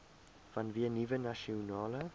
vanweë nuwe nasionale